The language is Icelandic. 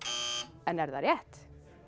en er það rétt